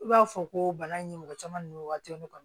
I b'a fɔ ko bana in mɔgɔ caman n'u waati ne kɔni